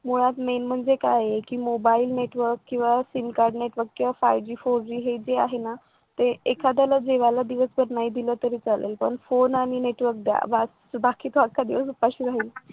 मुळात main म्हणजे काय आहे कि मोबाइल network किंवा sim card network five Gfour G हे जे आहे ना ते एखाद्याला जेवायला दिल ना तर नाही दिल तरी चालेल पण फोन आणि network द्या बाकीचा दिवस उपाशी राहील